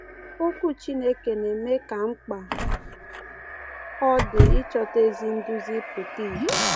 Okwu Chineke na-eme ka mkpa ọ dị ịchọta ezi nduzi pụta ìhè.